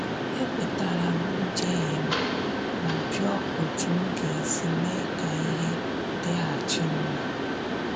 Ekwetara m njehie m ma jụọ otú m ga-esi mee ka ihe dịghachi mma